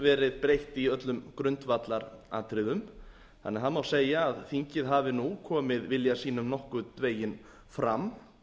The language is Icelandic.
verið breytt í öllum grundvallaratriðum þannig að það má segja að þingið hafi nú komið vilja sínum nokkurn veginn fram